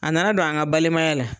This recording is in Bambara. A na na don an ka balimaya la.